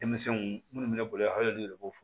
Denmisɛnw minnu bɛ ne bolo yan hali olu yɛrɛ b'o fɔ